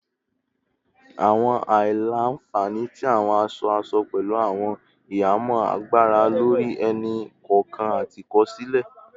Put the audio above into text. Awọn aila-nfani ti awọn aṣọ-aṣọ pẹlu awọn ihamọ agbara lori ẹni-kọọkan ati ikosile